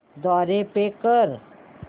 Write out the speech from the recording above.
द्वारे पे कर